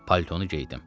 Paltonu geydim.